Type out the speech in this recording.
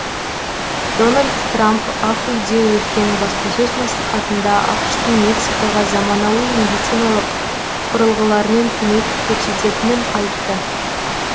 дональд трам ақ үйде өткен баспасөз мәслихатында ақш тың мексикаға заманауи медициналық құрылығылармен көмек көресететінін айтты